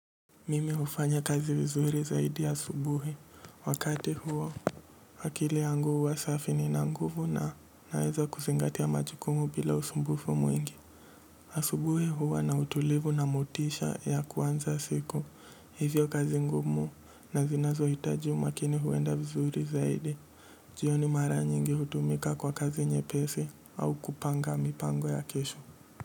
Mimi hufanya kazi vizuri zaidi asubuhi. Wakati huo, akili yangu huwa safi nina nguvu na naeza kuzingatia majukumu bila usumbufu mwingi. Asubuhi huwa na utulivu na motisha ya kuanza siku. Hivyo kazi ngumu na zinazohitaji umakini huenda vizuri zaidi. Jioni mara nyingi hutumika kwa kazi nyepesi au kupanga mipango ya kesho.